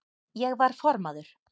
Ég var formaður